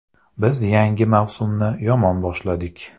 Biz yangi mavsumni yomon boshladik.